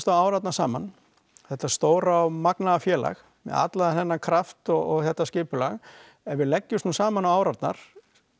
á árarnar saman þetta stóra og magnaða félag með allan þennan kraft og þetta skipulag ef við leggjumst nú saman á árarnar